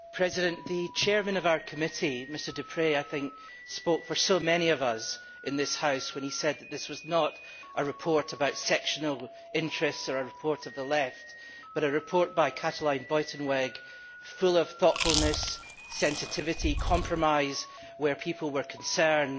Mr President, the Chair of our Committee, Mr Deprez, spoke for so many of us in this House when he said that this was not a report about sectional interests or a report of the Left, but a report by Mrs Buitenweg, which was full of thoughtfulness, sensitivity and compromise where people were concerned.